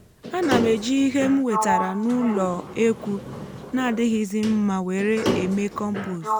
ánà m ejì íhe m wétàrà nà ụlọ ekwu na adịghịzi mma wèré èmé kọmpost